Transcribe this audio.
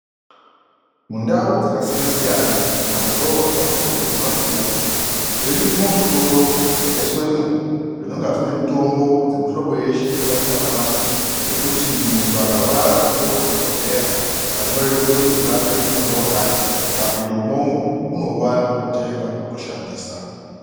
Mundau dzakasiyanasiyana mumadhorobha pamwepo nemumabuya zvirimwo zvitoro zvakaiswemwo zvinonga zvine mitombo dzeemihlobo yeshe panyika panaapa dzekuti muntu akarwara akahloyiwa ndidhokodheya akanyorerwe kuti ngaatsvake mutombo wakati akapinde umwomwo unouwana otenga otoushandisa.